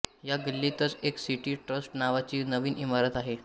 या गल्लीतच एक सिटी ट्रस्ट नावाची नवीन इमारत आहे